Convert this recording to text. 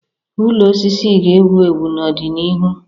Ụlọ osisi ga-ewu ewu n'ọdịnihu.